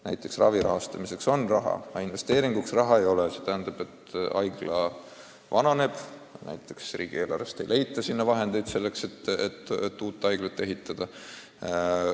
Näiteks ravi rahastamiseks on raha, aga investeeringuks raha ei ole ja haigla laguneb või riigieelarvest ei leita summasid, et uut haiglat ehitada.